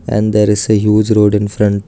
And there is a huge road in front --